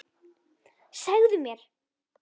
Segðu mér!